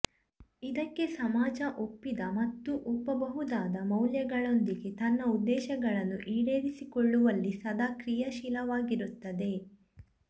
ಇದಕ್ಕಾಗಿ ಸಮಾಜ ಒಪ್ಪಿದ ಮತ್ತು ಒಪ್ಪಬಹುದಾದ ಮೌಲ್ಯಗಳೊಂದಿಗೆ ತನ್ನ ಉದ್ದೇಶಗಳನ್ನು ಈಡೇರಿಸಿಕೊಳ್ಳುವಲ್ಲಿ ಸದಾ ಕ್ರಿಯಾಶೀಲವಾಗಿರುತ್ತದೆ